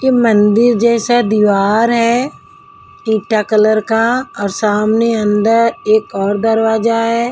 ये मंदिर जैसा दीवार हैईटा कलर का और सामने अंदर एक और दरवाजा है।